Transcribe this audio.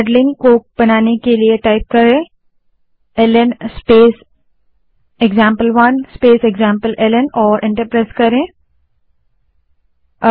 अब ल्न स्पेस एक्जाम्पल1 स्पेस एक्जाम्पलेल्न कमांड टाइप करें और एंटर दबायें